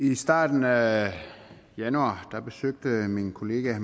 i starten af januar besøgte min kollega